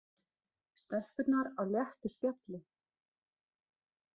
Stelpurnar á léttu spjalli